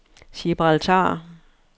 Gibraltar